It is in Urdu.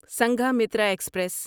سنگھامیتھرا ایکسپریس